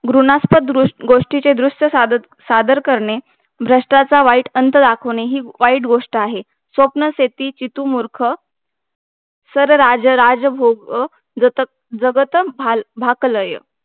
भ्रूणास्पद गोष्टीचे दृश्य सादर कर ने भष्टाचा वाईट अंत दाखवणे हि वाईट गोष्ट आहे स्वप्नशेती जितू मूर्ख सरराजराजभोग जग जगत भाकलाय